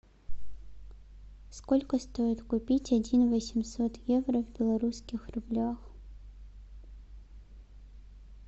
сколько стоит купить один восемьсот евро в белорусских рублях